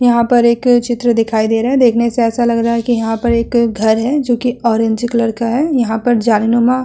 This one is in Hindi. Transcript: यहां पर एक चित्र दिखाई दे रहा है। देखने से ऐसा लग रहा है कि यहाँ पर एक घर है जो कि ऑरेंज कलर का है। यहाँ पर जालीनुमा --